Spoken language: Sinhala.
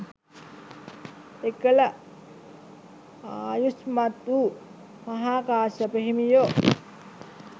එකල ආයුෂ්මත් වූ මහාකාශ්‍යප හිමියෝ